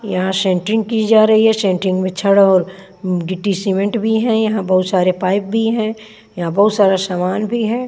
यहाँ शैट्रिंग की जा रही हैं शैट्रिंग में छड़ और गिटी सीमेंट भी हैं यहाँ बहुत सारे पाइप भी हैं यहाँ बहुत सारा समान भी है।